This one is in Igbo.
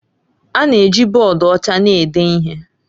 A na-eji bọọdụ ọcha na-ede ihe